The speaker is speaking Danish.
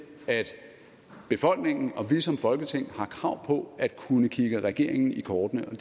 at befolkningen og vi som folketing har krav på at kunne kigge regeringen i kortene og